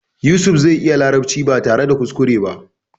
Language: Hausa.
Yusuf zai iya larabci ba tare da kuskure ba.